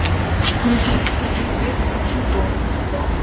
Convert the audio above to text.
включи хочу это хочу то